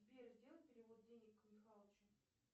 сбер сделай перевод денег михалычу